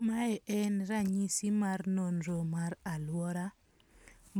Mae en ranyisi mar nonro mar aluora